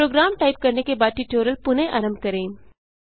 programme type करने के बाद ट्यूटोरियल पुनः आरंभ करें